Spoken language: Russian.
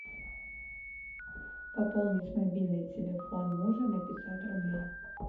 пополнить мобильный телефон мужа на пятьсот рублей